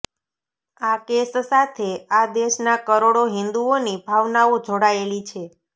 આ કેસ સાથે આ દેશના કરોડો હિન્દુઓની ભાવનાઓ જોડાયેલી છે